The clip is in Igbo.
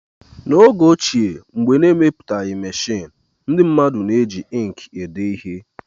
N'oge ochie, mgbe a na-emepụtaghị meshịn, ndị mmadụ na-eji ịnkị ede ihe